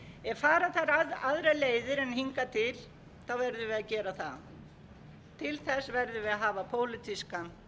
ef fara þarf aðrar leiðir en hingað til verðum við að gera það til þess verðum við að hafa pólitískan